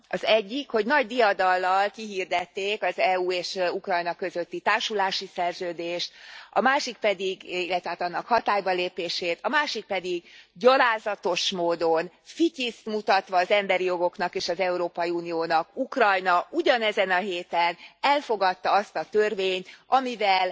Az egyik, hogy nagy diadallal kihirdették az EU és Ukrajna közötti társulási szerződést, illetve hát annak hatálybalépését, a másik pedig gyalázatos módon, fityiszt mutatva az emberi jogoknak és az Európai Uniónak Ukrajna ugyanezen a héten elfogadta azt a törvényt, amivel